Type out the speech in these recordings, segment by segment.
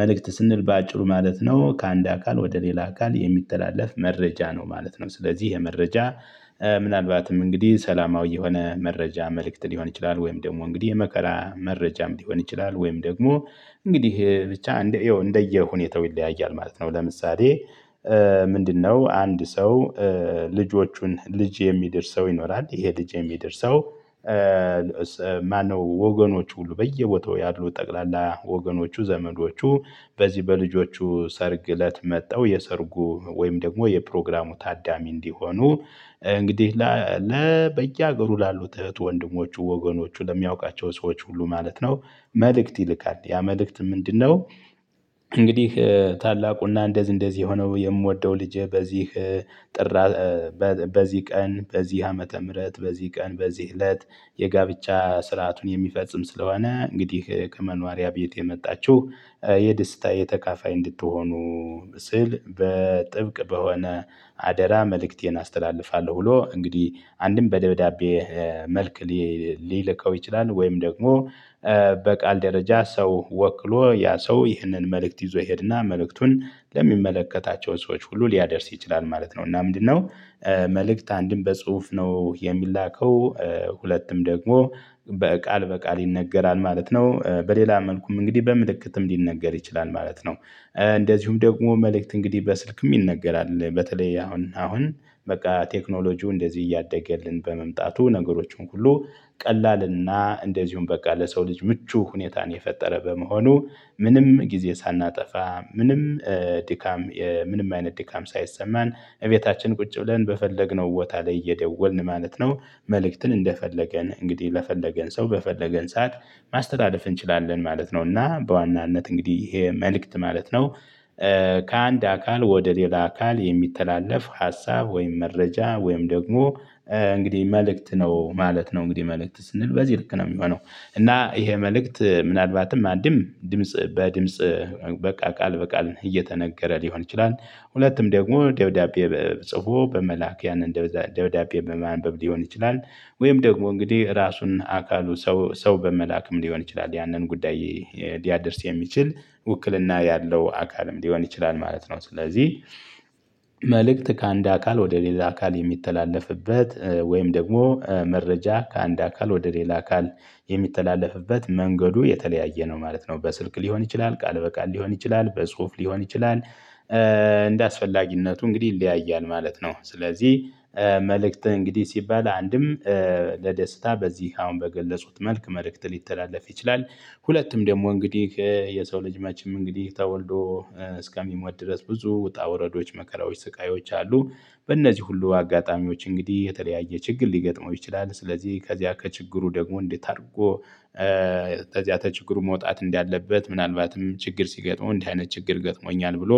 መልክት ስንል በአጭሩ ማለት ነው ከአንድ አካል ወደ ሌላ አካል የሚተላለፍ መረጃ ነው ማለት ነው። ስለዚህ የመረጃ ምናልባትም እንግዲህ ሰላማዊ የሆነ መረጃ መልእክት ሊሆን ይችላል። ወይም ደግሞ እንግዲህ የመከራ መረጃም ሊሆን ይችላል። ወይም ደግሞ እንግዲህ ብቻ እንደየሁኔታው ይለያያል ማለት ነው። ለምሳሌ ምንድነው? አንድ ሰው ልጆቹን ልጅ የሚደርሰው ይኖራል ይሄ ልጅ የሚደርሰው ማነው? ወገኖቹ ሁሉ በየቦታው ያሉ ጠቅላላ ወገኖቹ ዘመዶቹ በዚህ በልጆቹ ሰርግ እለት መጥተው የሰርጉ ወይም ደግሞ የፕሮግራሙ ታዳሚ እንዲሆኑ እንግዲህ በየሀገሩ ላሉት እህት ወንድሞቹ ወገኖቹ ለሚያውቃቸው ሰዎች ሁሉ ማለት ነው። መልእክት ይልካል ያ መልእክት ምንድነው? እንግዲህ ታላቁና እንደዚህ እንደዚህ የሆነው የምወደው ልጅዬ በዚህ ጥ በዚህ ቀን በዚህ ዓመተ ምህረት በዚህ ቀን በዚህ እለት የጋብቻ ስርዓቱን የሚፈጽም ስለሆነ እንግዲህ ከመኖሪያ ቤት የመጣችሁ የደስታዬ ተቃፋይ እንድትሆኑ። ስል በጥብቅ በሆነ አደራ መልእክቴን አስተላልፋለሁ። ብሎ እንግዲህ አንድም በደብዳቤ መልክ ሊልከው ይችላል ወይም ደግሞ በቃል ደረጃ ሰው ወክሎ ያ ሰው ይህንን መልእክት ይዞ ይሄድና መልእክቱን ለሚመለከታቸው ሰዎች ሁሉ ሊያደርስ ይችላል ማለት ነው። እና ምንድነው? መልእክት አንድም በጽሁፍ ነው የሚላከው። ደግሞ በቃል በቃል ይነገራል ማለት ነው። በሌላ መልኩም እንግዲህ በምልክትም ሊነገር ይችላል ማለት ነው። እንደዚሁም ደግሞ መልእክት እንግዲህ በስልክም ይነገራል በተለይ አሁን አሁን በቃ ቴክኖሎጂው እንደዚህ እያደገ በመምጣቱ ነገሮችን ሁሉ ቀላልና እንደዚሁም በቃ ለሰው ልጅ ምቹ ሁኔታን የፈጠረ በመሆኑ ምንም ጊዜ ሳናጠፋ ምንም ድካም ምንም አይነት ድካም ሳይሰማን ቤታችን ቁጭ ብለን በፈለግነው ቦታ ላይ እየደወልን ማለት ነው። መልእክትን እንደፈለገን እንግዲህ ለፈለገን ሰው በፈለገን ሰዓት ማስተላለፍ እንችላለን ማለት ነው። እና በዋናነት እንግዲህ ይሄ መልእክት ማለት ነው። ከአንድ አካል ወደ ሌላ አካል የሚተላለፍ ሀሳብ ወይም መረጃ ወይም ደግሞ እንግዲህ መልእክት ነው ማለት ነው። እንግዲህ መልእክት ስንል በዚህ ልክ ነው የሚሆነው። እና ይሄ መልእክት ምናልባትም አንድም ድምጽ በድምጽ ቃል በቃል እየተነገረ ሊሆን ይችላል። ሁለቱም ደግሞ ደብዳቤ ጽፎ በመላክ ያንን ደብዳቤ በማንበብ ሊሆን ይችላል። ወይም ደግሞ እንግዲህ ራሱን አካሉ ሰው በመላክም ሊሆን ይችላል ያንን ጉዳይ ሊያደርስ የሚችል ውክልና ያለው አካልም ሊሆን ይችላል ማለት ነው። ስለዚህ። መልእክት ከአንድ አካል ወደ ሌላ አካል የሚተላለፍበት ወይም ደግሞ መረጃ ከአንድ አካል ወደ ሌላ አካል የሚተላለፍበት መንገዱ የተለያየ ነው ማለት ነው። በስልክ ሊሆን ይችላል ቃል በቃል ሊሆን ይችላል በጽሁፍ ሊሆን ይችላል። እንደአስፈላጊነቱ እንግዲህ ይለያያል ማለት ነው። ስለዚህ መልእክት እንግዲህ ሲባል አንድም ለደስታ በዚህ አሁን በገለጹት መልክ መልእክት ሊተላለፍ ይችላል። ሁለቱም ደግሞ እንግዲህ የሰው ልጅ መችም እንግዲህ ተወልዶ እስከሚሞት ድረስ ብዙ ውጣ ውረዶች መከራዎች ስቃዮች አሉ። በእነዚህ ሁሉ አጋጣሚዎች እንግዲህ የተለያየ ችግር ሊገጥመው ይችላል። ስለዚህ ከዚያ ከችግሩ ደግሞ እንዴት አድርጎ? ከዚያ ችግሩ መውጣት እንዳለበት ምናልባትም ችግር ሲገጥመው እንዲህ አይነት ችግር ገጥሞኛል ብሎ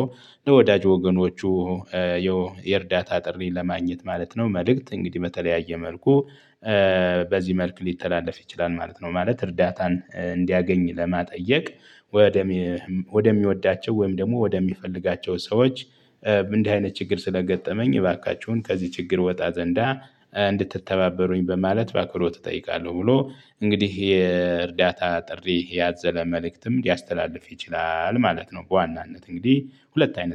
ለወዳጅ ወገኖቹ የእርዳታ ጥሪ ለማግኘት ማለት ነው። መልእክት እንግዲህ በተለያየ መልኩ በዚህ መልክ ሊተላለፍ ይችላል ማለት ነው። ማለት እርዳታን እንዲያገኝ ለመጠየቅ ወደ ወደሚወዳቸው ወይም ደግሞ ወደሚፈልጋቸው ሰዎች እንዲህ አይነት ችግር ስለገጠመኝ እባካችሁን ከዚህ ችግር ወጣ ዘንዳ እንድትተባበሩኝ በማለት ባክብሮ እጠይቃለሁ። ብሎ እንግዲህ የእርዳታ ጥሪ ያዘለ መልእክትም ሊያስተላልፍ ይችላል ማለት ነው። በዋናነት እንግዲህ ሁለት አይነት